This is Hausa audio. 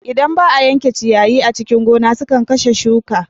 Idan ba a yanke ciyayi a cikin gona sukan kashe shuka.